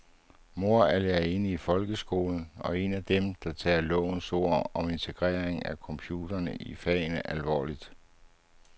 Mor er lærerinde i folkeskolen og en af dem, der tager lovens ord om integrering af computerne i fagene alvorligt.